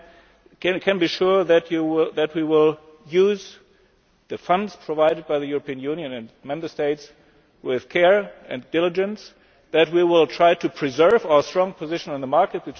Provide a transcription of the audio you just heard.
In conclusion, you can be sure that we will use the funds provided by the European Union and the Member States with care and diligence and that we will try to preserve our strong position in the market.